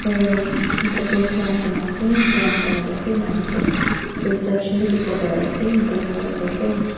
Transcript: aa tapal rekhi kina ase brown colour ase nanan de reflection dekho pai ase black colour ase.